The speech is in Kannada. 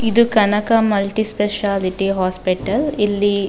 ಇದು ಕನಕ ಮಲ್ಟಿ ಸ್ಪೆಶಾಲಿಟಿ ಹಾಸ್ಪಿಟಲ್ . ಇಲ್ಲಿ.